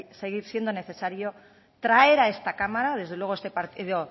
seguir siendo necesario traer a este cámara desde luego este partido